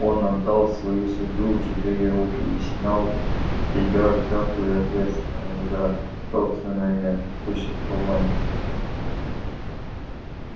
он отдал свою судьбу в чужие руки и снял с себя всякую ответственность за собственное существование